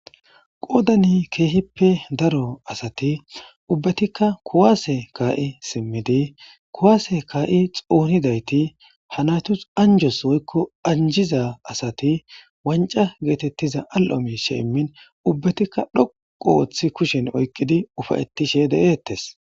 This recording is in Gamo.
qoodani keehippe daro asati ubbatikka kuwaase kaa7i simmidi kuwaase kaa7i xounidayti hanaytus anjos woykko anjiza asati wanca geetettiza al7o mishe immin ubbatikka dhoqu wooththi kushen oyqqidi ufayettishe de7eettes